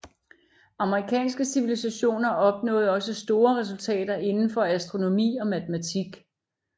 Amerikanske civilisationer opnåede også store resultater inden for astronomi og matematik